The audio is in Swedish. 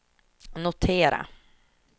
notera